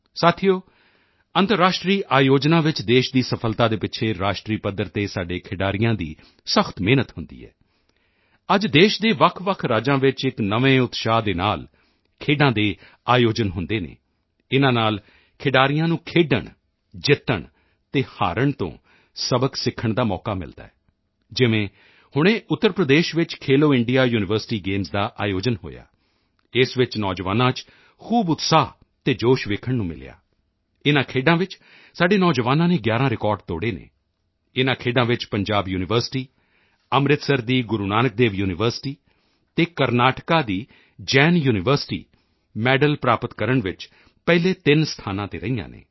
ਸਾਥੀਓ ਅੰਤਰਰਾਸ਼ਟਰੀ ਆਯੋਜਨਾਂ ਵਿੱਚ ਦੇਸ਼ ਦੀ ਸਫ਼ਲਤਾ ਦੇ ਪਿੱਛੇ ਰਾਸ਼ਟਰੀ ਪੱਧਰ ਤੇ ਸਾਡੇ ਖਿਡਾਰੀਆਂ ਦੀ ਸਖ਼ਤ ਮਿਹਨਤ ਹੁੰਦੀ ਹੈ ਅੱਜ ਦੇਸ਼ ਦੇ ਵੱਖਵੱਖ ਰਾਜਾਂ ਵਿੱਚ ਇੱਕ ਨਵੇਂ ਉਤਸ਼ਾਹ ਦੇ ਨਾਲ ਖੇਡਾਂ ਦਾ ਆਯੋਜਨ ਹੁੰਦੇ ਹਨ ਇਨ੍ਹਾਂ ਨਾਲ ਖਿਡਾਰੀਆਂ ਨੂੰ ਖੇਡਣ ਜਿੱਤਣ ਤੇ ਹਾਰ ਤੋਂ ਸਬਕ ਸਿੱਖਣ ਦਾ ਮੌਕਾ ਮਿਲਦਾ ਹੈ ਜਿਵੇਂ ਹੁਣੇ ਉੱਤਰ ਪ੍ਰਦੇਸ਼ ਵਿੱਚ ਖੇਲੋ ਇੰਡੀਆ ਯੂਨੀਵਰਸਿਟੀ ਗੇਮਸ ਦਾ ਆਯੋਜਨ ਹੋਇਆ ਇਸ ਵਿੱਚ ਨੌਜਵਾਨਾਂ ਚ ਖੂਬ ਉਤਸ਼ਾਹ ਤੇ ਜੋਸ਼ ਦੇਖਣ ਨੂੰ ਮਿਲਿਆ ਇਨ੍ਹਾਂ ਖੇਡਾਂ ਵਿੱਚ ਸਾਡੇ ਨੌਜਵਾਨਾਂ ਨੇ 11 ਰਿਕਾਰਡ ਤੋੜੇ ਹਨ ਇਨ੍ਹਾਂ ਖੇਡਾਂ ਵਿੱਚ ਪੰਜਾਬ ਯੂਨੀਵਰਸਿਟੀ ਅੰਮ੍ਰਿਤਸਰ ਦੀ ਗੁਰੂ ਨਾਨਕ ਦੇਵ ਯੂਨੀਵਰਸਿਟੀ ਅਤੇ ਕਰਨਾਟਕਾ ਦੀ ਜੈਨ ਯੂਨੀਵਰਸਿਟੀ ਮੈਡਲ ਪ੍ਰਾਪਤ ਵਿੱਚ ਪਹਿਲੇ ਤਿੰਨ ਸਥਾਨਾਂ ਤੇ ਰਹੀਆਂ ਹਨ